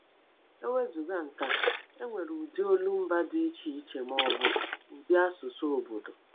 E wezụga nke a, e nwere ụdị olumba dị iche iche, ma ọ bụ ụdị asụsụ obodo.